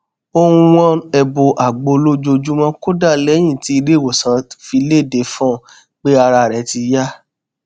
ó n wọn ẹbu àgbo lójoojúmọ kódà lẹyìn tí ilé ìwòsàn fi léde fún un pé ara rẹ ti yá